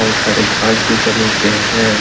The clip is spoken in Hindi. बहुत सारे घास भी जमीन पे हैं।